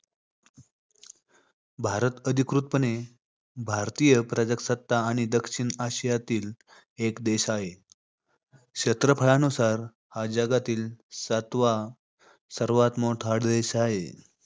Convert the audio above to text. भारत, अधिकृतपणे भारतीय प्रजासत्ताक आणि दक्षिण आशियातील एक देश हाय. क्षेत्रफळ अनुसार हा जगातील सातवा सर्वात मोठा देश हाय.